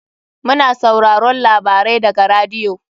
Mu na sauraron labarai daga radiyo.